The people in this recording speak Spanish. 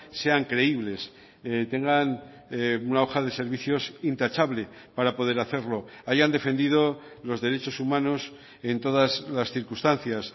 sean creíbles tengan una hoja de servicios intachable para poder hacerlo hayan defendido los derechos humanos en todas las circunstancias